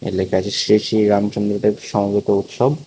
লেখা আছে শ্রী শ্রী রামচন্দ্র দেব সমবেত উৎসব।